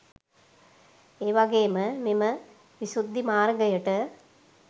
ඒවගේම මෙම විශුද්දිමාර්ගයට